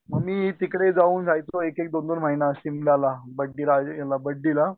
मग मी तिकडे जाऊन रहायचो एक एक दोन दोन महिना शिमलाला बडडीराज ह्याला बड्डीला